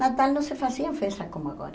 Natal não se fazia em festa como agora.